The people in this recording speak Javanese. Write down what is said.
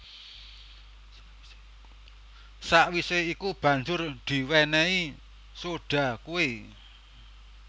Sawisé iku banjur diwénéhi soda kué